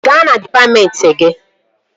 Gaa na dịpatmentị gị!